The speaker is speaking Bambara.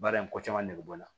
Baara in ko caman nege bɔ n na